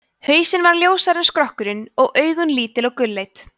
hausinn var ljósari en skrokkurinn og augun lítil og gulleit